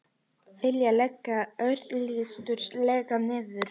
Vilja leggja öryggislögregluna niður